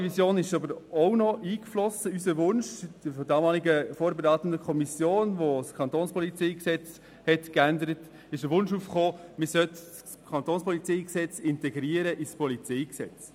In die Totalrevision floss aber auch noch der Wunsch der damaligen vorberatenden Kommission ein, das Gesetz über die Kantonspolizei (KPG) in das PolG zu integrieren.